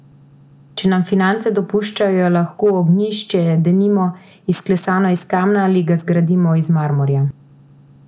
Če nam finance dopuščajo, je lahko ognjišče denimo izklesano iz kamna ali ga zgradimo iz marmorja.